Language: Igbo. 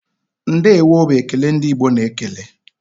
"Ndeewo" bụ ekele ndị Igbo na-ekele.